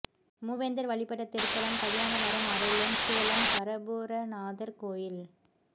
மூவேந்தர் வழிபட்ட திருத்தலம் கல்யாண வரம் அருளும் சேலம் கரபுரநாதர் கோயில்